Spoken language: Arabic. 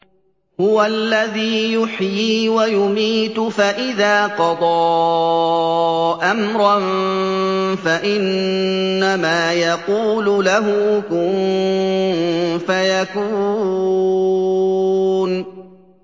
هُوَ الَّذِي يُحْيِي وَيُمِيتُ ۖ فَإِذَا قَضَىٰ أَمْرًا فَإِنَّمَا يَقُولُ لَهُ كُن فَيَكُونُ